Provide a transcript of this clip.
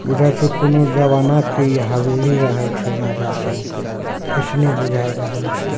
बुझा छै इ कुनू जमाना के इ हवेली रहल छै राजा सब के ऐसने बुझा रहल छै।